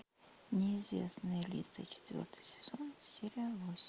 неизвестные лица четвертый сезон серия восемь